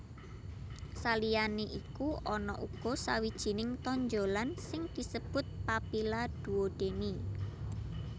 Saliyané iku ana uga sawijining tonjolan sing disebut papilla duodeni